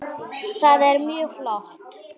Það er mjög flott.